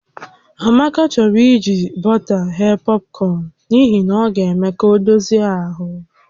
Amaka chọrọ iji bọta ghee pọpkọn n'ihi na ọ ga-eme ka ọ dozie ahụ